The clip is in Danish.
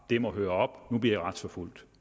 det må høre op nu bliver i retsforfulgt